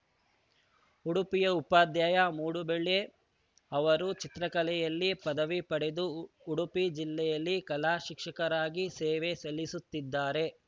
ಉಡುಪಿಯ ಉಪಾಧ್ಯಾಯ ಮೂಡುಬೆಳ್ಳೆ ಅವರು ಚಿತ್ರಕಲೆಯಲ್ಲಿ ಪದವಿ ಪಡೆದು ಉಡುಪಿ ಜಿಲ್ಲೆಯಲ್ಲಿ ಕಲಾ ಶಿಕ್ಷಕರಾಗಿ ಸೇವೆ ಸಲ್ಲಿಸುತ್ತಿದ್ದಾರೆ